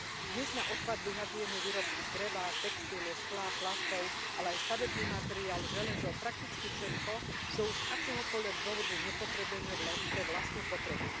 Dnes na odpad vyhadzujeme výrobky z dreva, textilu, skla, plastov, ale aj stavebný materiál, železo, prakticky všetko, čo už z akéhokoľvek dôvodu nepotrebujeme pre vlastnú potrebu.